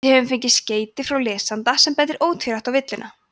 við höfum fengið skeyti frá lesanda sem bendir ótvírætt á villuna